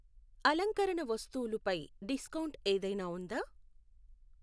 అలంకరణ వస్తువులు పై డిస్కౌంట్ ఏదైనా ఉందా?